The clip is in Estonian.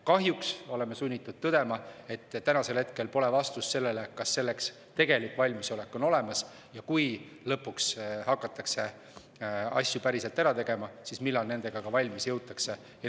Kahjuks oleme sunnitud tõdema, et täna pole vastust sellele, kas tegelik valmisolek selleks on olemas, ega sellele, et kui lõpuks hakatakse asju päriselt ära tegema, siis millal nendega valmis jõutakse.